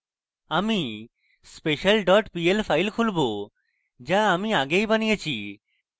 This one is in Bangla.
আমি special dot pl file খুলবো যা আমি আগেই বানিয়েছি